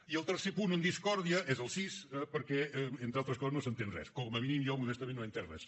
i el tercer punt en discòrdia és el sis eh perquè entre altres coses no s’entén res com a mínim jo modestament no he entès res